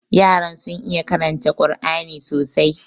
Yaran sun iya karanta Kur'ani sosai.